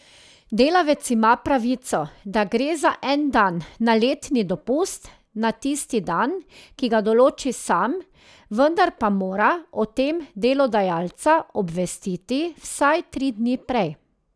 Delavec ima pravico, da gre za en dan na letni dopust na tisti dan, ki ga določi sam, vendar pa mora o tem delodajalca obvestiti vsaj tri dni prej.